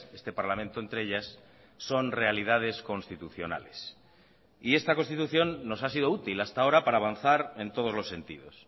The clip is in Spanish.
este parlamento entre ellas son realidades constitucionales y esta constitución nos ha sido útil hasta ahora para avanzar en todos los sentidos